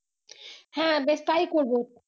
হ্যাঁ বেশ তাই করবো